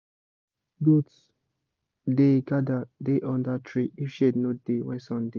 goats da gather da under tree if shade no da when sun da